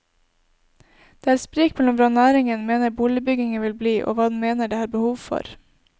Det er sprik mellom hva næringen mener boligbyggingen vil bli og hva den mener det er behov for.